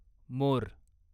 मोर